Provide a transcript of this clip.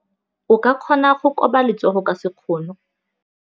O ka kgona go koba letsogo ka sekgono.